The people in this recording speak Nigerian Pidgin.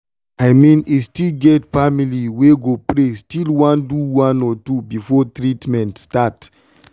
i mean e get family wey go pray still one do one or two before treament start.